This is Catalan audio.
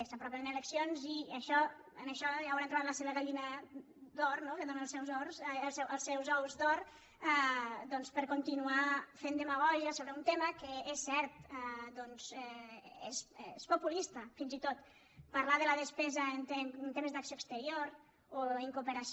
s’apropen eleccions i en això hi hauran trobat la seva gallina d’or no que dóna els seus ous d’or doncs per continuar fent demagògia sobre un tema que és cert doncs és populista fins i tot parlar de la despesa en temes d’acció exterior o en cooperació